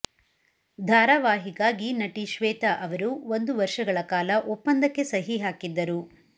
ಧಾರಾವಾಹಿಗಾಗಿ ನಟಿ ಶ್ವೇತಾ ಅವರು ಒಂದು ವರ್ಷಗಳ ಕಾಲ ಒಪ್ಪಂದಕ್ಕೆ ಸಹಿ ಹಾಕಿದ್ದರು